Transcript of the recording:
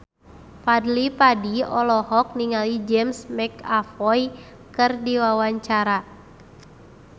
Fadly Padi olohok ningali James McAvoy keur diwawancara